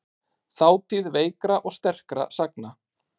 Þátíð veikra og sterkra sagna.